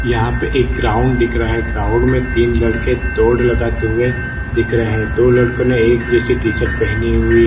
यहां पे एक ग्राउंड दिख रहा है ग्राउंड में तीन लड़के दौड़ लगाते हुए दिख रहे हैं दो लड़कों ने एक जैसे टी शर्ट पहनी हुई--